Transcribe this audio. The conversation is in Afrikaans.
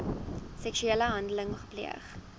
seksuele handeling gepleeg